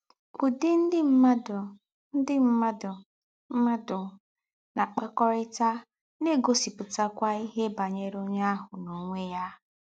Ụ́dị̀ ndị̀ mmádụ̀ ndị̀ mmádụ̀ mmádụ̀ na-àkpakọ́rịtà na-ègosípụ̀tàkwá íhè bànyèrè ònyé áhụ̀ n’ònwé yà.